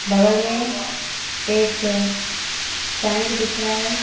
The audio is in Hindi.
बगल में एक टैंक दिख रहा है।